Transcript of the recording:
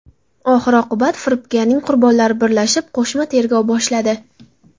Oxir-oqibat, firibgarning qurbonlari birlashib, qo‘shma tergov boshladi.